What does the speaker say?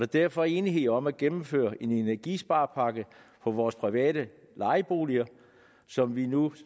derfor enighed om at gennemføre en energisparepakke for vores private lejeboliger som vi nu